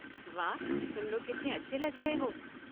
वाह, तुम लोग कितने अच्छे लग रहे हो।